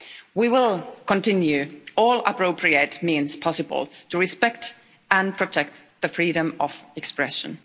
We will continue with all appropriate means possible to respect and protect freedom of expression.